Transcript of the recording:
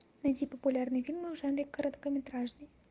найди популярные фильмы в жанре короткометражный